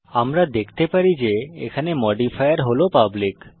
আমরা দেখতে পারি যে এখানে মডিফায়ার হল পাবলিক